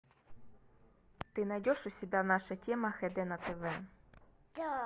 ты найдешь у себя наша тема хд на тв